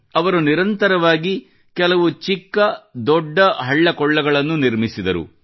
ಅವರು ನಿರಂತರವಾಗಿ ಕೆಲವು ಚಿಕ್ಕ ದೊಡ್ಡ ಹಳ್ಳ ಕೊಳ್ಳಗಳನ್ನು ನಿರ್ಮಿಸಿದರು